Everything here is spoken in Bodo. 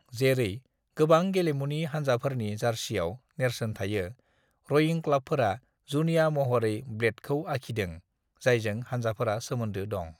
"जेरै गोबां गेलेमुनि हान्जाफोरनि जार्सियाव नेरसोन थायो, रइं क्लाबफोरा जुनिया महरै ब्लेडखौ आखिदों जायजों हान्जाफोरा सोमोन्दो दं।"